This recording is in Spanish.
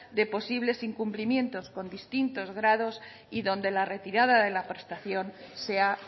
de posibles incumplimientos con distintitos grados y donde la retirada de la prestación sea